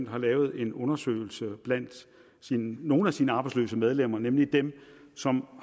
har lavet en undersøgelse blandt nogle af sine arbejdsløse medlemmer nemlig dem som